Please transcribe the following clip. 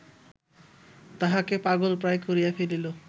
তাহাকে পাগলপ্রায় করিয়া ফেলিল